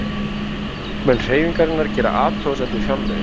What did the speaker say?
Þingmenn Hreyfingarinnar gera athugasemd við fjárlögin